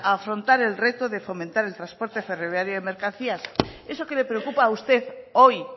afrontar el reto de fomentar el transporte ferroviario de mercancías eso que le preocupa a usted hoy